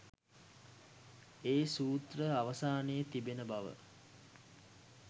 ඒ සූත්‍රය අවසානයේ තිබෙන බව.